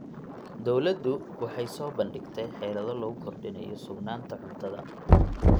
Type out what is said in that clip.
Dawladdu waxay soo bandhigtay xeelado lagu kordhinayo sugnaanta cuntada.